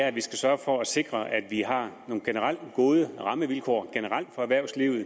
at vi skal sørge for at sikre at vi har nogle generelt gode rammevilkår for erhvervslivet